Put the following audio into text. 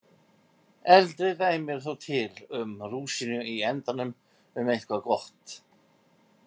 Eldri dæmi eru þó til um rúsínu í endanum um eitthvað gott.